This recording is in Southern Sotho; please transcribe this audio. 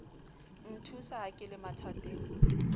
nthusa ha ke le mathateng